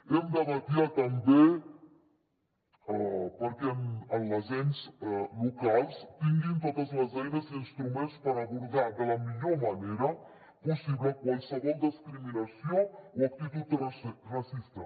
hem de vetllar també perquè els ens locals tinguin totes les eines i instruments per abordar de la millor manera possible qualsevol discriminació o actitud racista